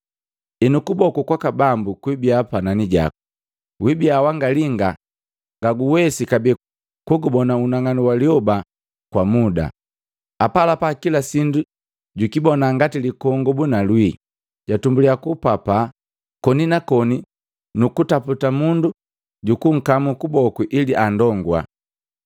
Enu, kuboku kwaka Bambu kwibia panani jaku. Wibia wanga linga ngaguwesi kabee kugubona unang'anu wa lyoba kwa muda.” Apalapa kila sindu jukibona ngati likongobu na lwii, jatumbulia kupapaa koni na koni kuntaputa mundu jukunkamu kuboku ili anndongua.